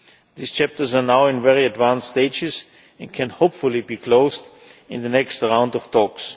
These chapters are now at very advanced stages and can hopefully be closed in the next round of talks.